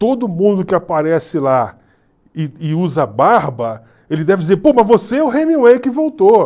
Todo mundo que aparece lá e e usa barba, ele deve dizer, pô, mas você é o Hemingway que voltou.